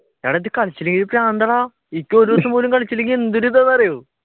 എടാ ഇത് കളിച്ചില്ലെങ്കിൽ പ്രാന്താടാ. എനിക്ക് ഒരു ദിവസം പോലും കളിച്ചില്ലെങ്കിൽ എന്തൊരു ഇതാണെന്ന് അറിയോ